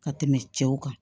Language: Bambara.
Ka tɛmɛ cɛw kan